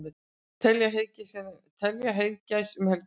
Telja heiðagæs um helgina